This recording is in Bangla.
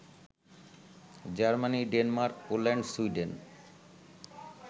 Germany, Denmark, Poland, Sweden